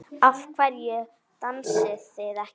Af hverju dansið þið ekki?